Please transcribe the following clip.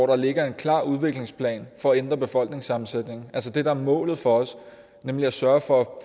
der ligger en klar udviklingsplan for at ændre befolkningssammensætningen altså det der er målet for os nemlig at sørge for at